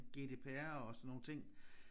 GDPR og sådan nogle ting